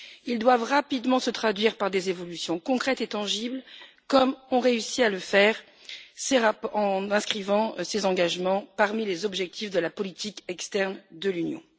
Ils doivent rapidement se traduire par des évolutions concrètes et tangibles, comme ont réussi à le faire ces rapports en inscrivant ces engagements parmi les objectifs de la politique externe de l'Union.